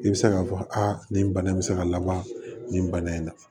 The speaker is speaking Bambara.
I bɛ se k'a fɔ aa nin bana in bɛ se ka laban nin bana in na